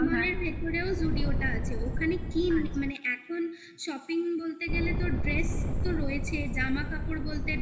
lake mall ভেতরেও zudio টা আছে ওখানে কি মানে এখন shopping বলতে গেলে তো dress তো রয়েছে জামা কাপড় বলতে